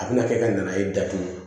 A bɛna kɛ ka nan'a ye datugu